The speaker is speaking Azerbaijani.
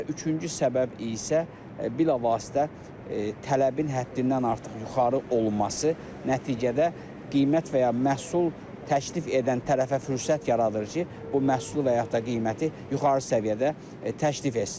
Və üçüncü səbəb isə bilavasitə tələbin həddindən artıq yuxarı olması nəticədə qiymət və ya məhsul təklif edən tərəfə fürsət yaradır ki, bu məhsulu və yaxud da qiyməti yuxarı səviyyədə təklif etsin.